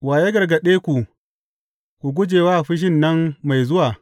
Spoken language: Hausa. Wa ya gargaɗe ku ku guje wa fushin nan mai zuwa?